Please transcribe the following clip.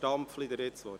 Stampfli hat das Wort.